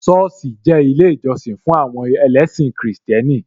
Sọ́ọ̀sì jẹ́ ilé ìjọsìn fún àwọn ẹlẹ́sìn Kristẹni